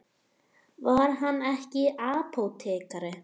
Var hann ekki apótekari?